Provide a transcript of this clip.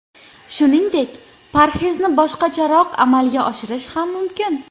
Shuningdek, parhezni boshqacharoq amalga oshirish ham mumkin.